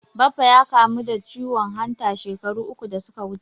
Baffa ya kamu da ciwon hanta shekaru uku da suka wuce.